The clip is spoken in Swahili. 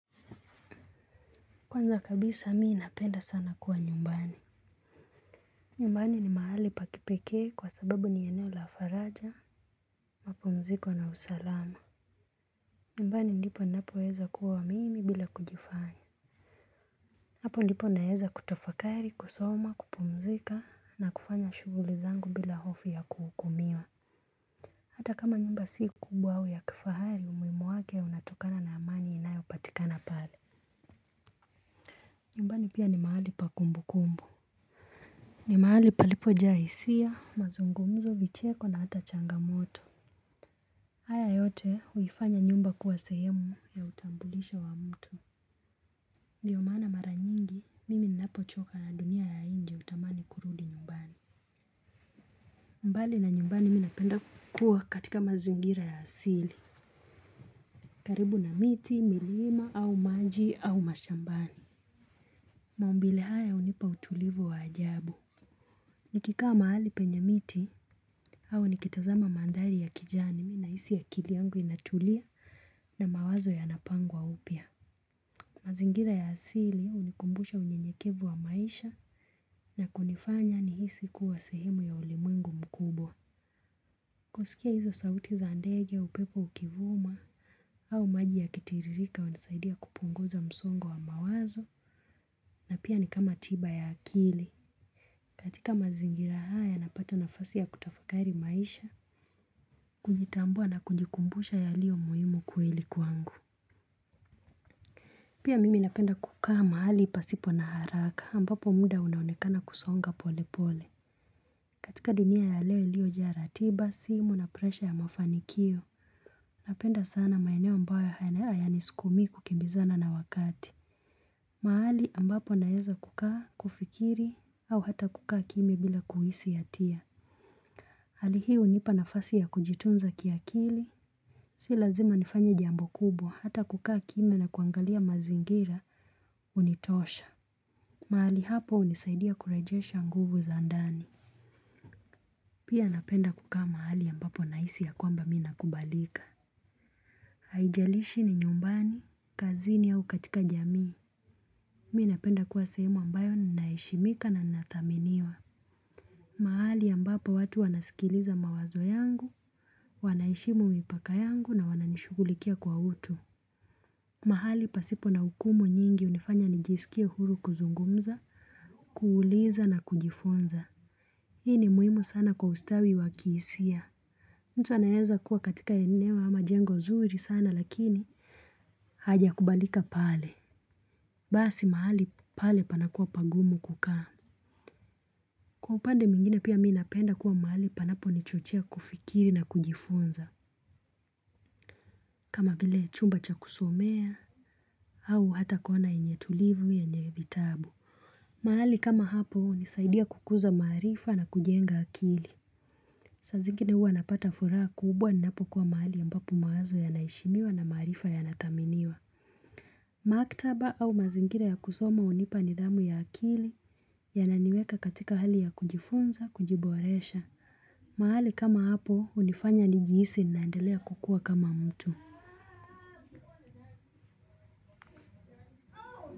Kwanza kabisa mi napenda sana kuwa nyumbani. Nyumbani ni mahali pa kipekee kwa sababu ni eneo la faraja, mapumziko na usalama. Nyumbani ndipo ninapoweza kuwa mimi bila kujifanya. Hapo ndipo naeza kutafakari, kusoma, kupumzika na kufanya shughuli zangu bila hofu ya kuhukumiwa. Hata kama nyumba si kubwa au ya kifahari umuhimu wake unatokana na amani inayopatikana pale nyumbani pia ni mahali pa kumbukumbu. Ni mahali palipo jaa hisia, mazungumzo, vicheko na hata changamoto haya yote huifanya nyumba kuwa sehemu ya utambulisho wa mtu ndio maana mara nyingi, mimi ninapochoka na dunia ya nje hutamani kurudi nyumbani mbali na nyumbani mi napenda kuwa katika mazingira ya asili karibu na miti, milima, au maji, au mashambani maumbile haya hunipa utulivu wa ajabu. Nikikaa mahali penye miti au nikitazama mandhari ya kijani nahisi akili yangu inatulia na mawazo yanapangwa upya. Mazingira ya asili hunikumbusha unyenyekevu wa maisha na kunifanya ni hisi kuwa sehemu ya ulimwengu mkubwa. Kusikia hizo sauti za ndege upepo ukivuma au maji yakitiririka hunisaidia kupunguza msongo wa mawazo na pia ni kama tiba ya akili. Katika mazingira haya napata nafasi ya kutafakari maisha, kujitambua na kujikumbusha yaliyomuhimu kweli kwangu. Pia mimi napenda kukaa mahali pasipo na haraka ambapo muda unaonekana kusonga pole pole. Katika dunia ya leo iliyojaa ratiba, simu na presha ya mafanikio. Napenda sana maeneo ambayo hayanisukumii kukimbizana na wakati. Mahali ambapo naeza kukaa kufikiri au hata kukaa kimya bila kuhisi hatia hali hii hunipa nafasi ya kujitunza kiakili. Si lazima nifanye jambo kubwa hata kukaa kimya na kuangalia mazingira hunitosha. Mahali hapo hunisaidia kurejesha nguvu za ndani. Pia napenda kukaa mahali ambapo nahisi ya kwamba mi na kubalika. Haijalishi ni nyumbani, kazini au katika jamii. Mi napenda kuwa sehemu ambayo ninaheshimika na ninathaminiwa. Mahali ambapo watu wanasikiliza mawazo yangu, wanaheshimu mipaka yangu na wananishughulikia kwa utu. Mahali pasipo na ukumu nyingi hunifanya nijisikie huru kuzungumza, kuuliza na kujifunza. Hii ni muhimu sana kwa ustawi wa kihisia. Mtu anaeza kuwa katika eneo ama jengo zuri sana lakini hajakubalika pale basi mahali pale panakuwa pagumu kukaa. Kwa upande mwingine pia mi napenda kuwa mahali panapo nichochea kufikiri na kujifunza kama vile chumba cha kusomea au hata kona yenye tulivu yenye vitabu mahali kama hapo hunisaidia kukuza maarifa na kujenga akili saa zingine huwa napata furaha kubwa ninapokuwa mahali ambapo mawazo yanaheshimiwa na maarifa yanathaminiwa maktaba au mazingira ya kusoma hunipa nidhamu ya akili yananiweka katika hali ya kujifunza, kujiboresha mahali kama hapo hunifanya nijihisi ninaendelea kukua kama mtu.